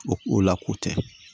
O la ko tɛ